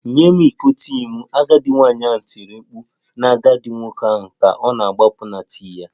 Nye m iko tii m! Agadi nwanyị ahụ tiri mkpu na agadi nwoke ahụ ka ọ na-agbapụ na tii ya